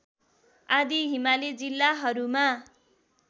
आदि हिमाली जिल्लाहरूमा